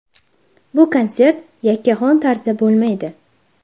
Bu konsert yakkaxon tarzda bo‘lmaydi.